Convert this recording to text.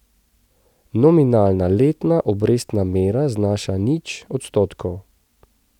Nominalna letna obrestna mera znaša nič odstotkov.